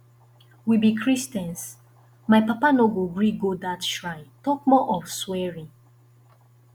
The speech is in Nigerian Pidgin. we be christians my papa no go gree go dat shrine talk more of swearing